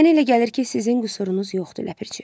Mənə elə gəlir ki, sizin qüsurunuz yoxdur Ləpirçi.